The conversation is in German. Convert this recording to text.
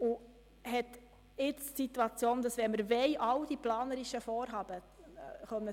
Jetzt haben wir folgende Situation, wenn wir all diese planerischen Vorhaben